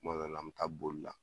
Kuma dɔ la an bɛ taa bolila